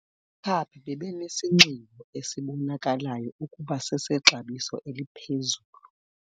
Abakhaphi bebenesinxibo esibonakalayo ukuba sesexabiso eliphezulu.